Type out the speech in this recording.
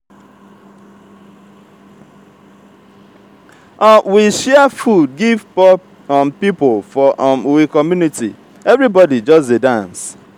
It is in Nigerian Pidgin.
we share food give poor um pipo for um we community everybodi just dey dance.